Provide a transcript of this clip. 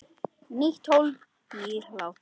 Nýtt hólf- nýr hlátur